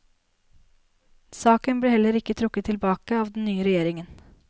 Saken ble heller ikke trukket tilbake av den nye regjeringen.